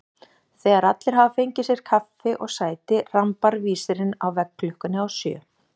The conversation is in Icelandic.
Þegar allir hafa fengið sér kaffi og sæti rambar vísirinn á veggklukkunni á sjö.